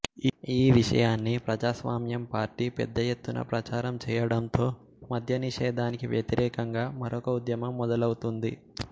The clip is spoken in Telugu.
ఈ విషయాన్ని ప్రజాస్వామ్యం పార్టీ పెద్దయెత్తున ప్రచారం చేయడంతో మధ్యనిషేధానికి వ్యతిరేకంగా మరొక ఉద్యమం మొదలవుతుంది